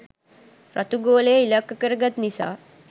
රතු ගෝලය ඉලක්ක කරගත් නිසා